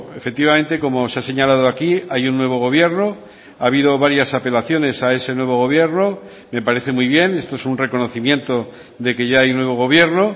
efectivamente como se ha señalado aquí hay un nuevo gobierno ha habido varias apelaciones a ese nuevo gobierno me parece muy bien esto es un reconocimiento de que ya hay nuevo gobierno